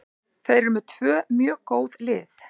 Þeir eru með tvö mjög góð lið.